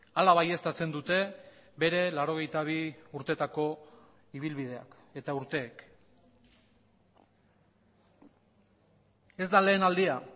hala baieztatzen dute bere laurogeita bi urtetako ibilbideak eta urteek ez da lehen aldia